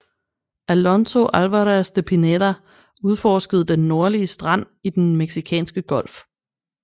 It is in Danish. Alonso Álvarez de Pineda udforskede den nordlige strand i Den meksikanske Golf